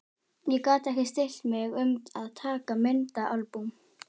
Ég gat ekki stillt mig um að taka myndaalbúm.